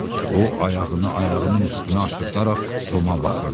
O, ayağını ayağının üstünə aşıraraq Toma baxırdı.